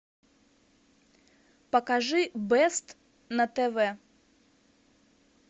покажи бест на тв